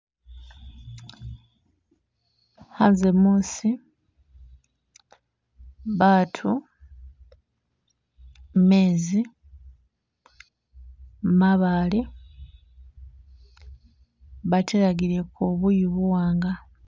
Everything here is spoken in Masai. Anze musi,, batu, mezi, mabale batelagileko buyu buwanga